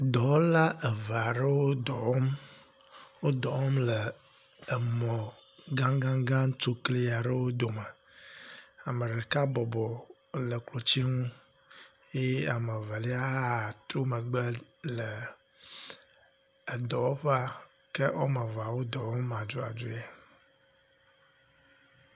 Dɔwɔla eve aɖewo dɔ wɔm. Wo dɔ wɔm le emɔ gagagã tsokli aɖewo ome. Ame ɖeka bɔbɔ ele klotsinu eye ame evelia hã tro megbe le edɔwɔƒea ke wɔme eve la wo edɔ wɔm aduadue.